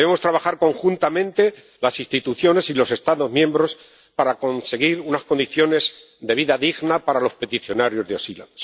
Debemos trabajar conjuntamente las instituciones y los Estados miembros para conseguir unas condiciones de vida digna para los peticionarios de asilo.